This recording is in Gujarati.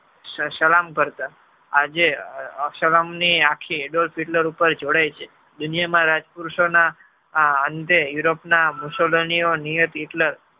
સ~ સલામ કરતા આજે સલામ ની આખી Adolf Hitler જોડાય છે દુનિયામાં રાજપુરુષો ના અંતે europe Hitler ના